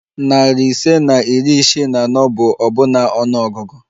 Narị ise na iri isii na anọ bụ ọbụna ọnụ ọgụgụ